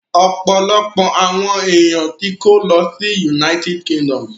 Ọ̀pọ̀lọpọ̀ àwọn èèyàn tó kó lọ sí United Kingdom